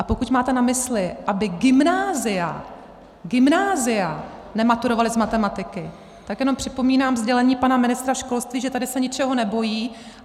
A pokud máte na mysli, aby gymnázia , gymnázia nematurovala z matematiky, tak jenom připomínám sdělení pana ministra školství, že tady se ničeho nebojí.